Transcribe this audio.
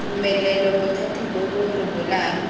tumelelo bothati bo bo rebolang